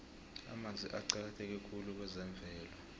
amanzi aqakatheke khulu kwezemvelo